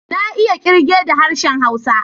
Na iya kirge da harshen Hausa.